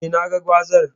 Eh, naga gwazar.